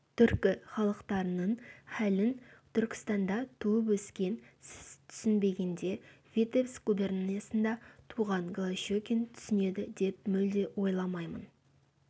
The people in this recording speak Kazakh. түркі халықтарының халін түркістанда туып-өскен сіз түсінбегенде витебск губерниясында туған голощекин түсінеді деп мүлде ойламаймын